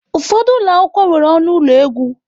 Ụfọdụ ụlọ akwụkwọ nwere ọnụ ụlọ egwu m.